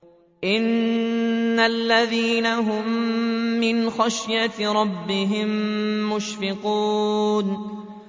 إِنَّ الَّذِينَ هُم مِّنْ خَشْيَةِ رَبِّهِم مُّشْفِقُونَ